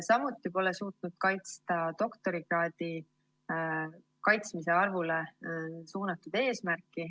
Samuti pole suudetud täita doktorikraadi kaitsmiste arvu eesmärki.